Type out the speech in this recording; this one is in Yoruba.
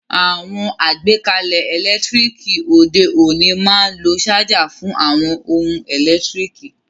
Àwon àgbékalẹ̀ ẹ́lẹ̀ntirikì òde ọ̀ní ma n lo charger fun àwon oun èlò ẹ́lẹ̀ntirikì